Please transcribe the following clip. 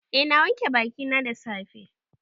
Eh na wanke bakina da safe.